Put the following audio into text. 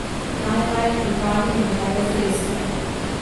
Najraje pripravim goveje zrezke.